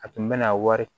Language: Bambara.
A tun bɛ na wari